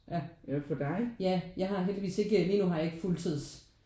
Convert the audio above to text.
Ja ja jeg har heldigvis ikke lige nu har jeg ikke fuldtids